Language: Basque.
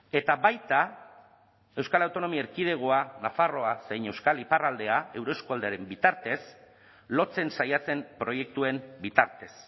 eta baita euskal autonomia erkidegoa nafarroa zein euskal iparraldea euroeskualdearen bitartez lotzen saiatzen proiektuen bitartez